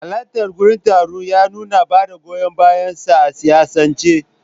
Halartarsa gurin taron ya nuna bada goyon bayansa a siyasance.